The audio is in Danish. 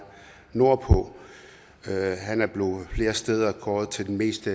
af det nordpå han er flere steder blevet kåret til den mest